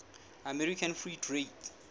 american free trade